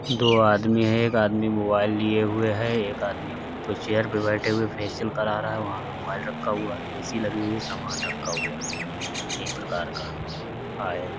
दो आदमी है एक आदमी मोबाइल लिए हुए है। एक आदमी चेयर पर बैठे हुए फेशियल करा रहा है। वहाँ पे मोबाइल रखा हुआ है। ए.सी. लगी हुई है। सामान रखा हुआ है। एक प्रकार का ऑइल --